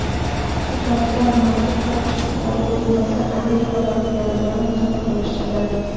Checheniston maxsus topshiriqli bo‘linmasi Amerika vakillari bilan musobaqalashadi.